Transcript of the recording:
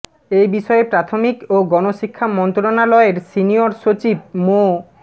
এ বিষয়ে প্রাথমিক ও গণশিক্ষা মন্ত্রণালয়ের সিনিয়র সচিব মো